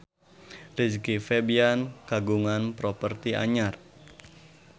Rizky Febian kagungan properti anyar